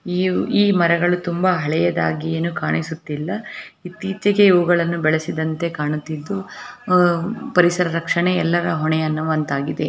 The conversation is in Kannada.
ಇವು ಈ ಮರಗಳು ತುಂಬಾ ಹಳೆಯದಾಗಿ ಏನು ಕಾಣಿಸುತ್ತಿಲ್ಲಾ ಇತ್ತೀಚಿಗೆ ಇವುಗಳನ್ನು ಬೆಳೆಸಿದಂತೆ ಕಾಣುತ್ತಿದ್ದು ಅಹ್ ಪರಿಸರ ರಕ್ಷಣೆ ಎಲ್ಲರ ಹೊಣೆ ಅನ್ನುವಂತಾಗಿದೆ.